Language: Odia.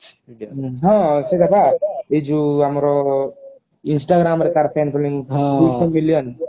ହଁ ସେଇଟା ପା ଏଇ ଯଉ ଆମର instagram ରେ ତାର fan following ତାର ଦୁଇ ଶହ million